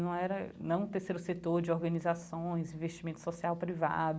Não era não um terceiro setor de organizações, investimento social privado.